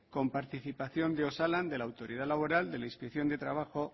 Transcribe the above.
con participación de osalan de la autoridad laboral de la inspección de trabajo